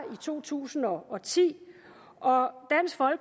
i to tusind og ti